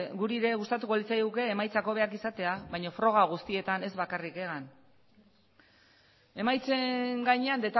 guri ere gustatuko litzaiguke emaitza hobeak izatea baina froga guztietan ez bakarrik egan emaitzen gainean